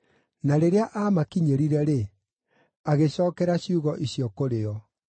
Na rĩrĩa aamakinyĩrire-rĩ, agĩcookera ciugo icio kũrĩ o.